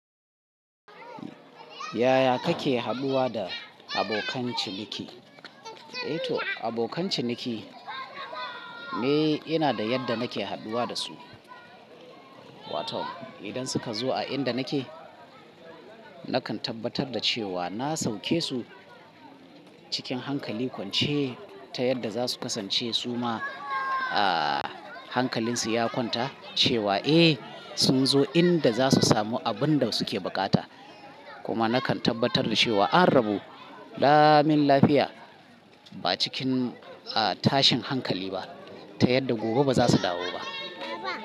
Yaya kake hadduwa da abokan ciniki? Eh to abokan ciniki me ina da yadda nake hadduwa da su. Watad idan suka zo a inda nake, nakan tabbatar da cewa na sauke su cikin hankali kwance ta yadda za su kasance su ma a hankalin su ya kwanta cewa eh sun zo inda za su samu abun da suke bukata. Kuma nakan tabbatar da cewa an rabo damin lafiya ba cikin a tashin hankali ba ta yadda gobe ba za su dawo ba.